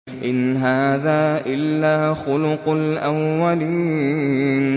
إِنْ هَٰذَا إِلَّا خُلُقُ الْأَوَّلِينَ